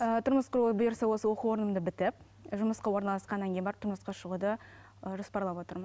ыыы тұрмыс құру бұйырса осы оқу орынымды бітіп жұмысқа орналасқаннан кейін барып тұрмысқа шығуды жоспарлап отырмын